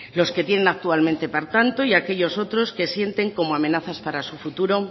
los que tienen actualmente por tanto y aquellos otros que sienten como amenazas para su futuro